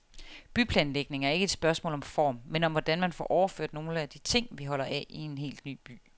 Byplanlægning er ikke et spørgsmål om form, men om hvordan man får overført nogle af de ting, vi holder af i en helt ny by.